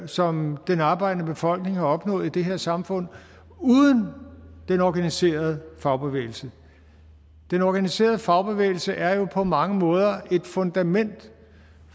som den arbejdende befolkning har opnået i det her samfund uden den organiserede fagbevægelse den organiserede fagbevægelse er jo på mange måder et fundament